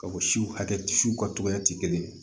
Ka o siw hakɛ siw ka togoya ti kelen ye